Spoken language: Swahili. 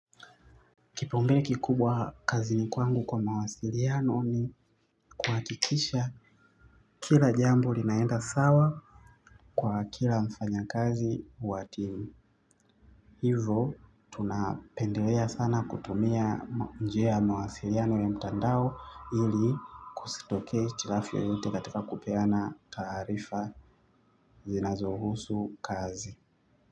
Kipa umbele kikubwa kazi ni kwangu kwa mawasiliano ni kwakikisha kila jambo linaenda sawa kwa kila mfanya kazi wa timu. Hivo tunapendelea sana kutumia njia ya mawasiliano ya mtandao ili kusitokee hitilafu yoyote katika kupeana taarifa zinazohusu kazi.